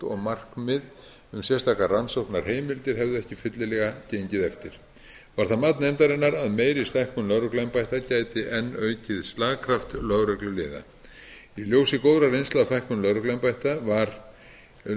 og markmið um sérstakar rannsóknarheimildir hefðu ekki fyllilega gengið eftir var það mat nefndarinnar að meiri stækkun lögregluembætta gæti enn aukið slagkraft lögregluliða í ljósi góðrar reynslu af